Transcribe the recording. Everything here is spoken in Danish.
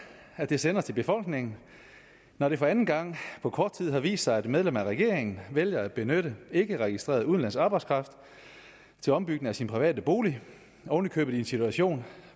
at det sender til befolkningen når det for anden gang på kort tid har vist sig at et medlem af regeringen vælger at benytte ikkeregistreret udenlandsk arbejdskraft til ombygning af sin private bolig oven i købet i en situation